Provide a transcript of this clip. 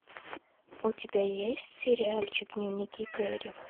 у тебя есть сериальчик дневники кэрри